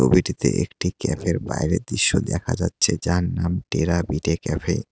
একটি ক্যাফের বাইরের দৃশ্য দেখা যাচ্ছে যার নাম টেরা বিটে ক্যাফে ।